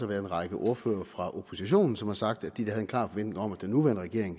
været en række ordførere fra oppositionen som har sagt at de havde en klar forventning om at den nuværende regering